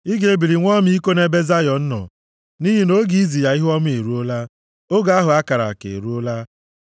Ị ga-ebili nwee ọmịiko nʼebe Zayọn nọ, nʼihi na oge izi ya ihuọma eruola; oge ahụ a kara aka eruola.